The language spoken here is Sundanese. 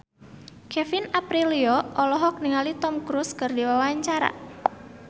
Kevin Aprilio olohok ningali Tom Cruise keur diwawancara